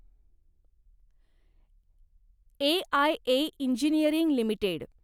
AIA engineering limited